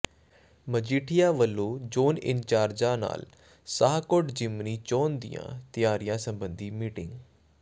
ਮਜੀਠੀਆ ਵਲੋਂ ਜ਼ੋਨ ਇੰਚਾਰਜਾਂ ਨਾਲ ਸ਼ਾਹਕੋਟ ਜ਼ਿਮਨੀ ਚੋਣ ਦੀਆਂ ਤਿਆਰੀਆਂ ਸਬੰਧੀ ਮੀਟਿੰਗ